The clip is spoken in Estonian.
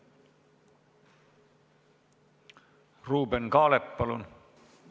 Ruuben Kaalep, palun!